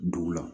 Dugu la